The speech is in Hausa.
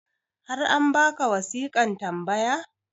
har an baka wasiƙan tambaya?